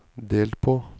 delt på